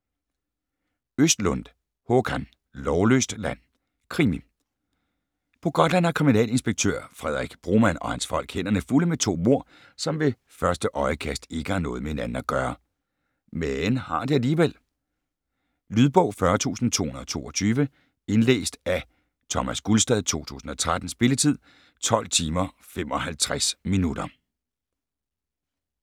Östlundh, Håkan: Lovløst land Krimi. På Gotland har kriminalinspektør Fredrik Broman og hans folk hænderne fulde med to mord, som ved første øjekast ikke har noget med hinanden at gøre. Men har de alligevel? Lydbog 40222 Indlæst af Thomas Gulstad, 2013. Spilletid: 12 timer, 55 minutter.